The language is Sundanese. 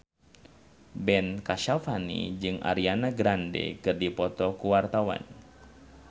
Ben Kasyafani jeung Ariana Grande keur dipoto ku wartawan